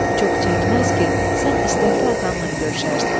Çox çəkməz ki, sən istəkli atannan görüşərsən."